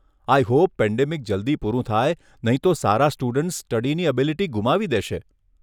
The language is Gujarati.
આઈ હોપ પેન્ડેમિક જલ્દી પૂરું થાય નહીં તો સારા સ્ટુડન્ટ્સ સ્ટડીની એબિલિટી ગુમાવી દેશે.